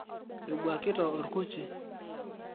ebwakita orkuchi